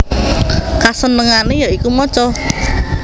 Kasenengane ya iku maca